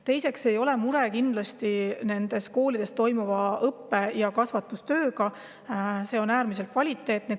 Teiseks, kindlasti ei ole muret nendes koolides toimuva õppe- ja kasvatustööga, see on äärmiselt kvaliteetne.